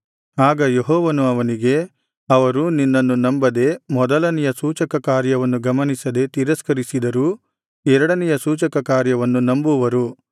ಆಗ ಯೆಹೋವನು ಅವನಿಗೆ ಅವರು ನಿನ್ನನ್ನು ನಂಬದೆ ಮೊದಲನೆಯ ಸೂಚಕಕಾರ್ಯವನ್ನು ಗಮನಿಸದೆ ತಿರಸ್ಕರಿಸಿದರೂ ಎರಡನೆಯ ಸೂಚಕಕಾರ್ಯವನ್ನು ನಂಬುವರು